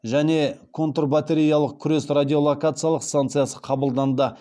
және контрбатареялық күрес радиолокациялық станциясы қабылданды